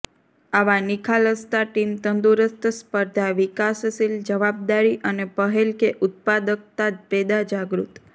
આવા નિખાલસતા ટીમ તંદુરસ્ત સ્પર્ધા વિકાસશીલ જવાબદારી અને પહેલ કે ઉત્પાદકતા પેદા જાગૃત